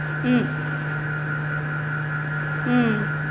ஹம் உம்